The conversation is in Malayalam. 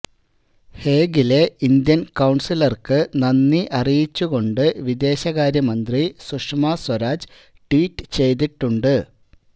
ഹേഗിലെ ഇന്ത്യന് കൌണ്സിലര്ക്ക് നന്ദി അറിയിച്ചുകൊണ്ട് വിദേശകാര്യമന്ത്രി സുഷമ സ്വരാജ് ട്വീറ്റ് ചെയ്തിട്ടുണ്ട്